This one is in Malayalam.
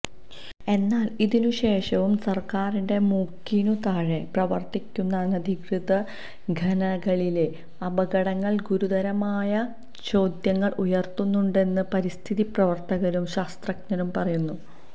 എന്നാല് ഇതിനുശേഷവും സര്ക്കാരിന്റെ മൂക്കിനുതാഴെ പ്രവര്ത്തിക്കുന്ന അനധികൃത ഖനികളിലെ അപകടങ്ങള് ഗുരുതരമായ ചോദ്യങ്ങള് ഉയര്ത്തുന്നുണ്ടെന്ന് പരിസ്ഥിതി പ്രവര്ത്തകരും ശാസ്ത്രജ്ഞരും പറയുന്നു